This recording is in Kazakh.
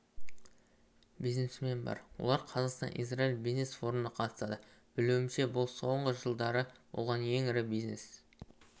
бизнесмен бар олар қазақстан-израиль бизнес форумына қатысады білуімше бұл соңғы жылдары болған ең ірі бизнес